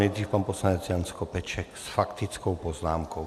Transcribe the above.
Nejdřív pan poslanec Jan Skopeček s faktickou poznámkou.